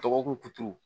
Dɔgɔkun kuturu